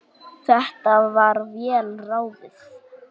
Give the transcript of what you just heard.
Þetta var vel ráðið.